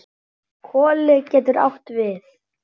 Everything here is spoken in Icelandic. Koli getur átt við